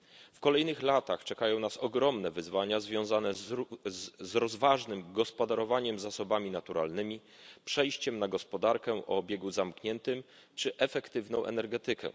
W kolejnych latach czekają nas ogromne wyzwania związane z rozważnym gospodarowaniem zasobami naturalnymi, przejściem na gospodarkę o obiegu zamkniętym czy efektywną energetykę.